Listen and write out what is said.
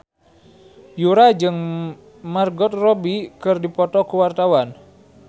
Yura jeung Margot Robbie keur dipoto ku wartawan